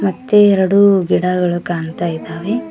ಮತ್ತೆ ಎರಡು ಗಿಡಗಳು ಕಾಣ್ತಾ ಇದ್ದಾವೆ.